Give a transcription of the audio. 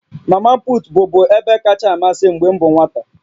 Mamaput bụbu ebe kacha amasị m mgbe m bụ nwata